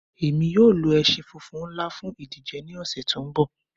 Ẹ̀mi yọ̀ lo ẹ̀ṣin fúnfún nlá fún ìdíjè ní ọṣẹ̀ tó nbọ̀